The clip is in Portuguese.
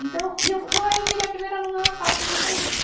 Então, e eu, e aí eu virei a primeira aluna da classe de matemática.